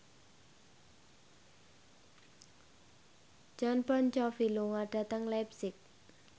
Jon Bon Jovi lunga dhateng leipzig